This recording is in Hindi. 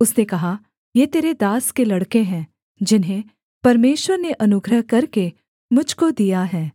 उसने कहा ये तेरे दास के लड़के हैं जिन्हें परमेश्वर ने अनुग्रह करके मुझ को दिया है